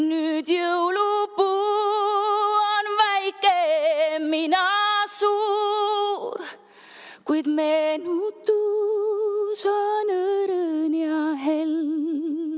Nüüd jõulupuu on väike, mina suur, kuid meenutus on õrn ja hell.